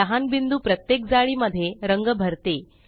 लहान बिंदु प्रत्येक जाळी मध्ये रंग भरते